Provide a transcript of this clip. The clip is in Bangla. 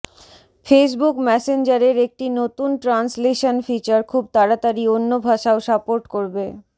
ফেসববুক ম্যাসেঞ্জারের একটি নতুন ট্রান্সলেশান ফিচার খুব তাড়াতাড়ি অন্য ভাষাও সাপোর্ট করবে